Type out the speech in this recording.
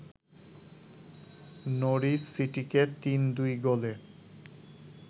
Norwich সিটিকে ৩-২ গোলে